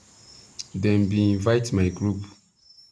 them bin invite my group